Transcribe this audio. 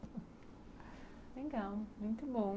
Legal, muito bom.